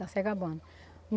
Está se acabando.